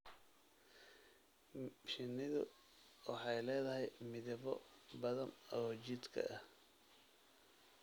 Shinnidu waxay leedahay midabbo badan oo jidhka ah.